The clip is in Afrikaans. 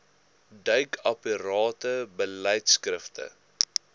duik aparte beleidskrifte